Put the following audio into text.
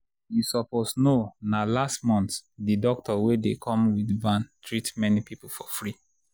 you suppose know na last month the doctor wey dey come with van treat many people for free